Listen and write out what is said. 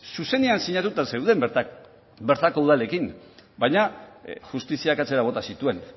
zuzenean sinatuta zeuden bertako udalekin baina justiziak atzera bota zituen